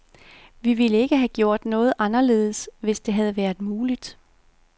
Vi ville ikke have gjort noget anderledes, hvis det havde været muligt.